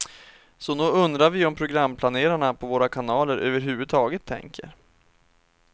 Så nog undrar vi om programplanerarna på våra kanaler överhuvudtaget tänker.